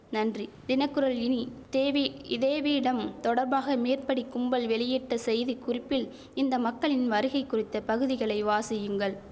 நன்றி தினக்குரல் இனி தேவி இதே வீடம் தொடர்பாக மேற்படி கும்பல் வெளியிட்ட செய்தி குறிப்பில் இந்த மக்களின் வருகை குறித்த பகுதிகளை வாசியுங்கள்